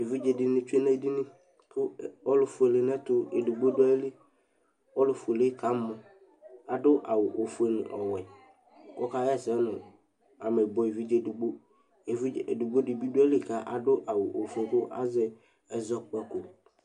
Evɩdza dini tsue nedinɩ, ɔlʊfuele nɛtʊ edigbo du ayɩlɩ Ɔlʊfuele kamɔ adu awʊ ofuele nɔwɛ, oka yɛsɛ nʊ amɛbuɛ evidze edigbo Evɩdze edigbo bi duayili kuadu awʊ ofue kazɛ ɛzɔkpako